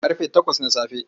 Ƙarfe takwas na safe.